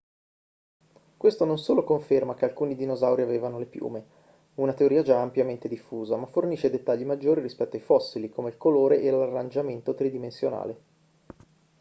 questo non solo conferma che alcuni dinosauri avevano le piume una teoria già ampiamente diffusa ma fornisce dettagli maggiori rispetto ai fossili come il colore e l'arrangiamento tridimensionale